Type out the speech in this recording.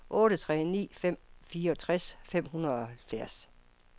otte tre ni fem fireogtres fem hundrede og halvfjerds